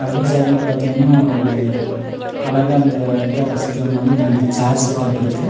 அப்படியே சைடுல பாத்தீங்கன்னா ஒரு அழகா அந்த இத ரசிக்கிற மாதிரி இரண்டு சேர் செட்டப் இருக்கு.